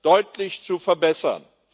deutlich zu verbessern.